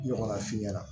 Ɲɔgɔnna f'i ɲɛna